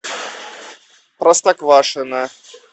простоквашино